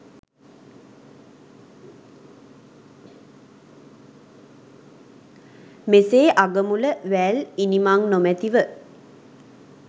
මෙසේ අගමුල වැල් ඉණිමං නොමැතිව